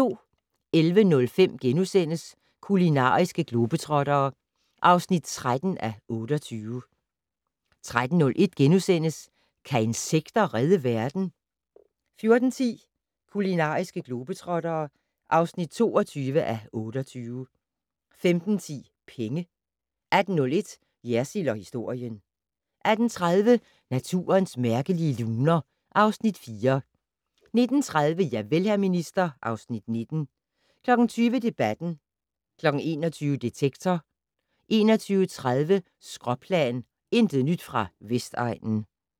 11:05: Kulinariske globetrottere (13:28)* 13:01: Kan insekter redde verden? * 14:10: Kulinariske globetrottere (22:28) 15:10: Penge 18:01: Jersild & historien 18:30: Naturens mærkelige luner (Afs. 4) 19:30: Javel, hr. minister (Afs. 19) 20:00: Debatten 21:00: Detektor 21:30: Skråplan - intet nyt fra Vestegnen